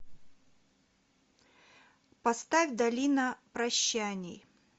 поставь долина прощаний